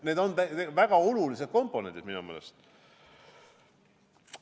Need on väga olulised komponendid minu meelest.